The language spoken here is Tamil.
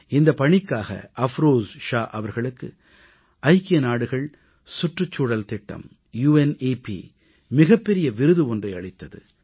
இந்தப் பணிக்காக அஃப்ரோஸ் ஷா அவர்களுக்கு ஐக்கிய நாடுகள் சுற்றுச்சூழல் திட்டம் யுனெப் மிகப் பெரிய விருது ஒன்றை அளித்தது